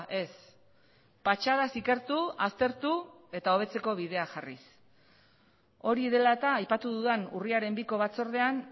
ez patxadaz ikertu aztertu eta hobetzeko bidea jarriz hori dela eta aipatu dudan urriaren biko batzordean